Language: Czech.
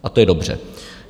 A to je dobře.